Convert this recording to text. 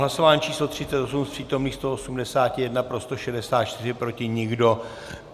Hlasování číslo 38, z přítomných 181 pro 164, proti nikdo.